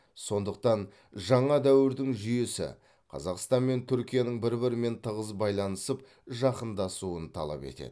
сондықтан жаңа дәуірдің жүйесі қазақстан мен түркияның бір бірімен тығыз байланысып жақындасуын талап етеді